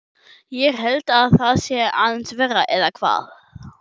Ég held að það sé aðeins verra, eða hvað?